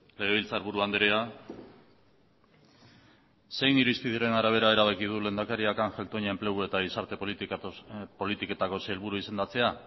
legebiltzarburu andrea zein irizpideren arabera erabaki du lehendakariak ángel toña enplegu eta gizarte politiketako sailburu izendatzea